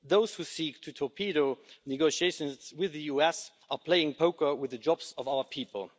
Those who seek to torpedo negotiations with the US are playing poker with the jobs of our people.